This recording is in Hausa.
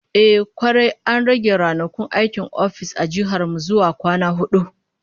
Kwarai kuwa, an rage ranakun aikin ofis a jihar mu zuwa kwana hudu